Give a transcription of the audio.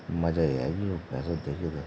मजा यी ऐगि यूँ भेंसू ते देखिके ।